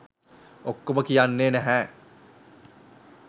ඔක්කොම කියන්නේ නැහැ